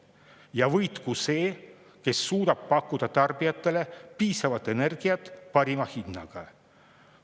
Ja võitku see, kes suudab pakkuda tarbijatele piisavalt energiat parima hinnaga.